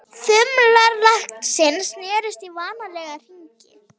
Þumlar læknisins snerust í vanalega hringi.